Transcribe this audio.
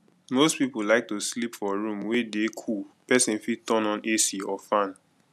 most people like to sleep for room wey dey cool person fit turn on ac or fan